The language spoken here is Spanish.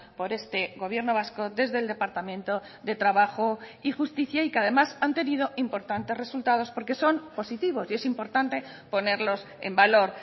por este gobierno vasco desde el departamento de trabajo y justicia y que además han tenido importantes resultados porque son positivos y es importante ponerlos en valor